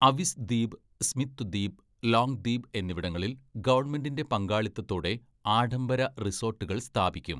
Avis ദ്വീപ്, Smith ദ്വീപ്, Long ദ്വീപ് എന്നിവിടങ്ങളിൽ ഗവൺമെന്റിന്റെ പങ്കാളിത്തത്തോടെ ആഡംബര റിസോട്ടുകൾ സ്ഥാപിക്കും.